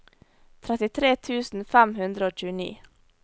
trettitre tusen fem hundre og tjueni